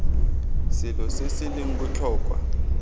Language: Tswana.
selo se se leng botlhokwa